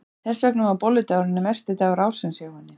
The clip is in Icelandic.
Þess vegna var bolludagurinn versti dagur ársins hjá henni.